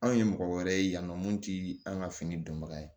Anw ye mɔgɔ wɛrɛ ye yan nɔ mun ti an ka fini dɔnbaga ye